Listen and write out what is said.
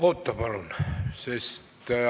Oota palun!